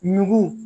Nugu